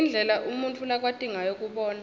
indlela umuntfu lakwati ngayo kubona